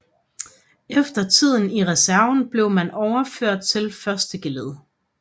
Efter tiden i reserven blev man overført til første geled